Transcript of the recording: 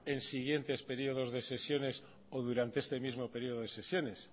en siguientes periodos de sesiones o durante este mismo periodo de sesiones